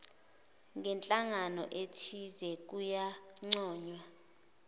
ngenhlangano ethize kuyancoywa